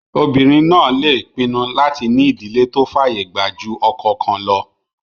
Obìnrin náà lè pinnu láti ní ìdílé tó fàyè gbà jù ọkọ kan lọ